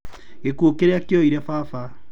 Gĩkuo kĩrĩa kĩoire baba.